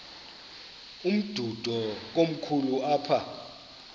umdudo komkhulu apha